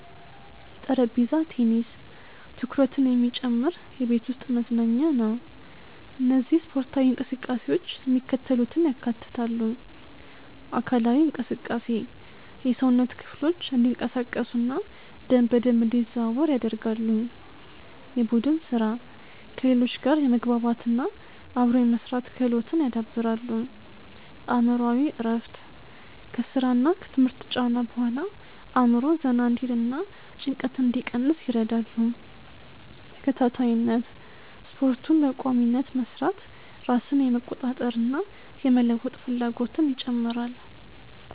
.ጠረጴዛ ቴኒስ፦ ትኩረትን የሚጨምር የቤት ውስጥ መዝናኛ ነው። እነዚህ ስፖርታዊ እንቅስቃሴዎች የሚከተሉትን ያካትታሉ:- .አካላዊ እንቅስቃሴ፦ የሰውነት ክፍሎች እንዲንቀሳቀሱና ደም በደንብ እንዲዘዋወር ያደርጋሉ። .የቡድን ሥራ፦ ከሌሎች ጋር የመግባባትና አብሮ የመሥራት ክህሎትን ያዳብራሉ። .አእምሮአዊ እረፍት፦ ከሥራና ከትምህርት ጫና በኋላ አእምሮ ዘና እንዲልና ጭንቀትን እንዲቀንስ ይረዳሉ። .ተከታታይነት፦ ስፖርቱን በቋሚነት መሥራት ራስን የመቆጣጠርና የመለወጥ ፍላጎትን ይጨምራል።